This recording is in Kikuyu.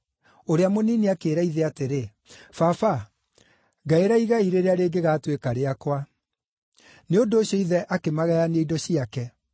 Ũrĩa mũnini akĩĩra ithe atĩrĩ, ‘Baba ngaĩra igai rĩrĩa rĩngĩgatuĩka rĩakwa.’ Nĩ ũndũ ũcio ithe akĩmagayania indo ciake.